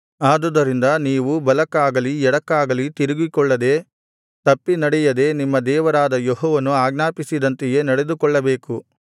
ಆದುದರಿಂದ ನೀವು ಬಲಕ್ಕಾಗಲಿ ಎಡಕ್ಕಾಗಲಿ ತಿರುಗಿಕೊಳ್ಳದೆ ತಪ್ಪಿ ನಡೆಯದೆ ನಿಮ್ಮ ದೇವರಾದ ಯೆಹೋವನು ಆಜ್ಞಾಪಿಸಿದಂತೆಯೇ ನಡೆದುಕೊಳ್ಳಬೇಕು